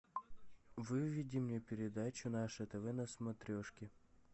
выведи мне передачу наше тв на смотрешке